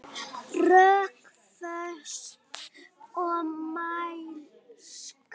Rökföst og mælsk.